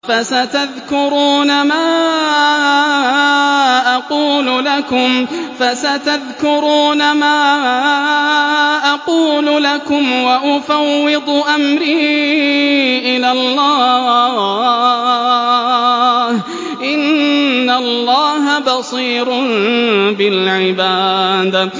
فَسَتَذْكُرُونَ مَا أَقُولُ لَكُمْ ۚ وَأُفَوِّضُ أَمْرِي إِلَى اللَّهِ ۚ إِنَّ اللَّهَ بَصِيرٌ بِالْعِبَادِ